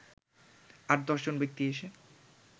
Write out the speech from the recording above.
আট/দশজন ব্যক্তি এসে